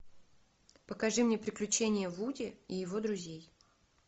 покажи мне приключения вуди и его друзей